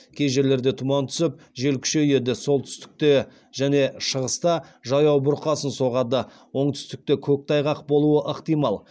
кей жерлерде тұман түсіп жел күшейеді солтүстікте және шығыста жаяу бұрқасын соғады оңтүстікте көктайғақ болуы ықтимал